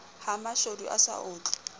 ha mashodu a sa otlwe